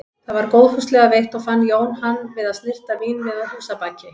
Það var góðfúslega veitt og fann Jón hann við að snyrta vínvið að húsabaki.